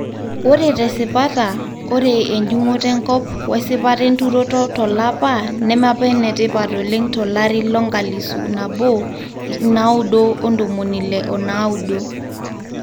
Ore tesipata, ore enjungoto enkop wesipata enturoto tolapa neme apa enetipat oleng tolari lonkalisu nabo ipnaudo ontomoni ile onaudo.